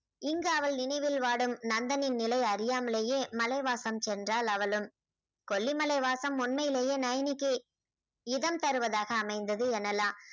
இங்கு அவள் நினைவில் வாடும் நந்தனின் நிலை அறியாமலேயே மலைவாசம் சென்றாள் அவளும் கொல்லிமலைவாசம் உண்மையிலேயே நைனிக்கு இதம் தருவதாக அமைந்தது எனலாம்